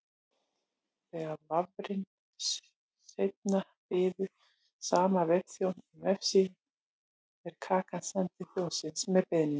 Þegar vafrinn seinna biður sama vefþjón um vefsíðu er kakan send til þjónsins með beiðninni.